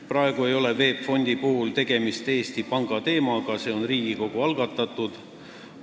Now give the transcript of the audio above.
Praegu ei ole VEB Fondi puhul tegemist Eesti Panga teemaga, see on Riigikogu algatatud teema.